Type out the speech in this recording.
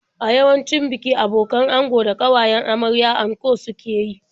A yawancin biki abokan ango da ƙawayen amarya anko suke yi.